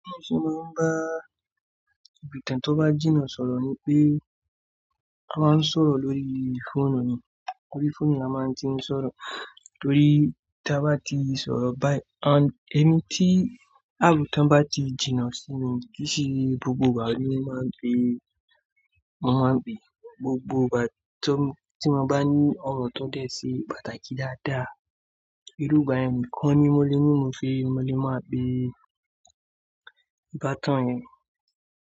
Bí mo see máa ń bá èbìtì tó bá jìnnà sọ̀rọ̀ ni pé a máa ń sọ̀rọ̀ lórí fóònù ni, ori fóònù ni a máa ń ti ń sọ̀rọ̀ torí tí a bá ti sọ̀rọ̀ báyì-- àn, èni tí, àb tí wọ́n bá ti jìnnà sí mi kìí ki se gbogbo ìgbà ni mo máa ń gbé, mo máa ń gbé gbogbo ìgbà tí mo bá ní ọ̀rọ̀ tó dẹ̀ sí pàtàkì dáadáa, irú ìgbà yẹn nìkan ni mo lè ní mo fi mo lè máa gbé ìbátan yẹn